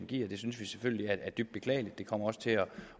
giver det synes vi selvfølgelig er dybt beklageligt det kommer også til